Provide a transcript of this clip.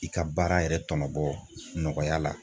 I ka baara yɛrɛ tɔnɔbɔ nɔgɔya la.